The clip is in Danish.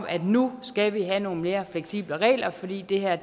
at vi nu skal have nogle mere fleksible regler fordi det her